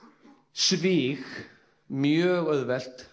svig mjög auðvelt